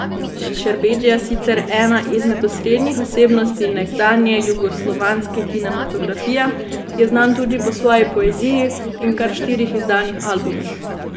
Šerbedžija, sicer ena izmed osrednjih osebnosti nekdanje jugoslovanske kinematografije, je znan tudi po svoji poeziji in kar štirih izdanih albumih.